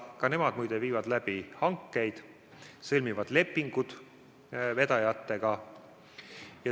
Ka nemad muide viivad läbi hankeid, sõlmivad lepingud vedajatega.